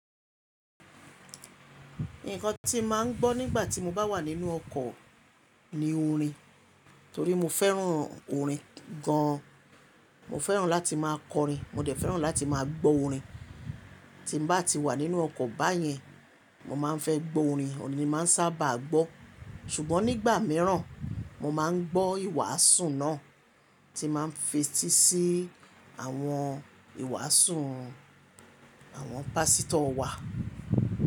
Nǹkan tí mo máa ń gbọ́ nígbà tí mo bá wà nínú ọkọ̀ ni orin torí mo fẹ́ràn orin gan an. Mo fẹ́ràn láti máa kọrin, mo dẹ̀ fẹ́ràn láti máa gbọ́ orin. Tí mo bá ti wà nínú ọkọ̀ báyẹn, mo máa ń fẹ́ gbọ́ orin, ọ̀ní ni màá ń sábà gbọ́. Ṣùgbọ́n nígbà míràn, mo má ń gbọ́ ìwàásù náà tí màá ń fetí sí àwọn ìwàásù àwọn pásítọ̀ wa.